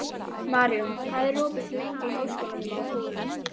Maríon, hvað er opið lengi í Háskólanum á Hólum?